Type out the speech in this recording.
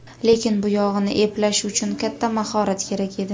Lekin buyog‘ini eplashi uchun katta mahorat kerak edi.